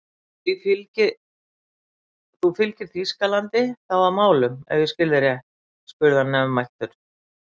Þú fylgir Þýskalandi þá að málum ef ég skil þig rétt? spurði hann nefmæltur.